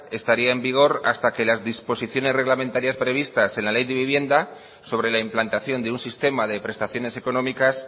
estaría en vigor hasta que las disposiciones reglamentarias previstas en la ley de vivienda sobre la implantación de un sistema de prestaciones económicas